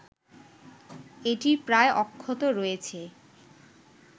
এটি প্রায় অক্ষত রয়েছে